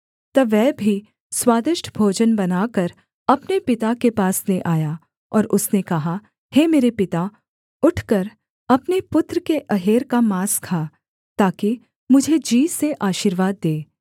तब वह भी स्वादिष्ट भोजन बनाकर अपने पिता के पास ले आया और उसने कहा हे मेरे पिता उठकर अपने पुत्र के अहेर का माँस खा ताकि मुझे जी से आशीर्वाद दे